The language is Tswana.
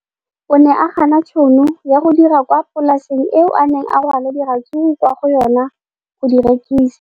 O ne a gana tšhono ya go dira kwa polaseng eo a neng rwala diratsuru kwa go yona go di rekisa.